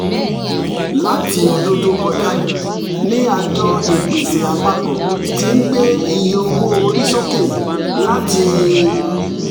láti ọdún tó kọjá ni àjọ ìpèsè àpapọ̀ ti ń gbé iye owó orí sókè láti